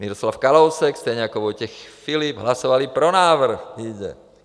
Miroslav Kalousek stejně jako Vojtěch Filip hlasovali pro návrh.